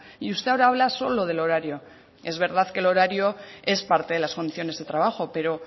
y usted ahora habla solo del horario es verdad que el horario es parte de las condiciones de trabajo pero